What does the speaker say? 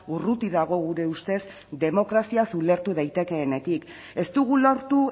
urruti dago gure ustez demokraziaz ulertu daitekeenetik ez dugu lortu